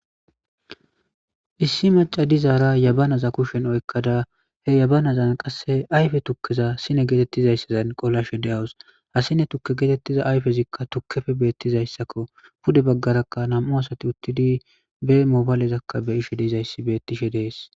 Issi macca dizara jabaanaza kushshen oyikkada siinne gettetizaysan qoolashshe deawus ha siinne tuuke gettetiza ayffezika tuukeppe bettizaysakko pudde bagaaraka nammu asathi uththidi be mobayleza beishsh deizayssi bettishshe dess.